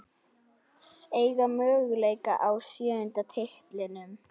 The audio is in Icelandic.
Eiga möguleika á sjöunda titlinum